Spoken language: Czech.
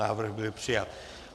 Návrh byl přijat.